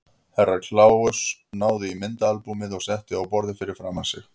Herra Kláus náði í myndaalbúmið og setti á borðið fyrir framan sig.